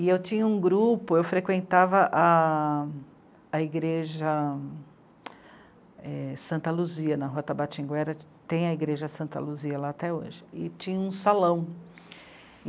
E eu tinha um grupo, eu frequentava a... a igreja... é... Santa Luzia, na Rua Tabatinguera, tem a igreja Santa Luzia lá até hoje, e tinha um salão.